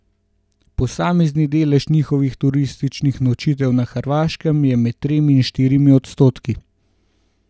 Posamezni delež njihovih turističnih nočitev na Hrvaškem je med tremi in štirimi odstotki.